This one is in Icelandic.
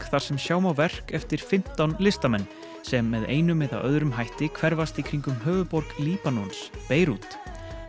þar sem sjá má verk eftir fimmtán listamenn sem með einum eða öðrum hætti hverfast í kringum höfuðborg Líbanons Beirút